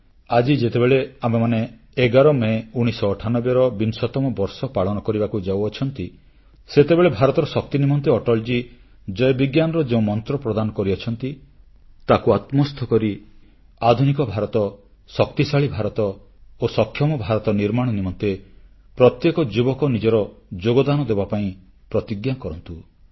ଆଜି ଯେତେବେଳେ ଆମେମାନେ 11 ମେ 1998 ର ବିଂଶତମ ବର୍ଷ ପାଳନ କରିବାକୁ ଯାଉଛୁ ସେତେବେଳେ ଭାରତର ଶକ୍ତି ନିମନ୍ତେ ଅଟଳଜୀ ଜୟ ବିଜ୍ଞାନର ଯେଉଁ ମନ୍ତ୍ର ପ୍ରଦାନ କରିଛନ୍ତି ତାକୁ ଆତ୍ମସ୍ଥ କରି ଆଧୁନିକ ଭାରତ ଶକ୍ତିଶାଳୀ ଭାରତ ଓ ସକ୍ଷମ ଭାରତ ନିର୍ମାଣ ନିମନ୍ତେ ପ୍ରତ୍ୟେକ ଯୁବକ ନିଜର ଯୋଗଦାନ ଦେବାପାଇଁ ପ୍ରତିଜ୍ଞା ଏବଂ ସଂକଳ୍ପ କରନ୍ତୁ